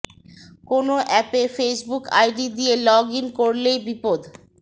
কোনো অ্যাপে Facebook ID দিয়ে লগ ইন করলেই বিপদ